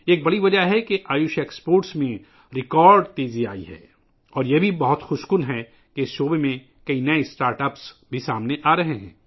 یہ ایک بڑی وجہ ہے ، جس کی وجہ سے آیوش بر آمدات میں ریکارڈ اضافہ دیکھنے میں آیا ہے اور یہ بھی بہت خوشگوار ہے کہ اس شعبے میں بہت سے نئے اسٹارٹ اپس بھی ابھر رہے ہیں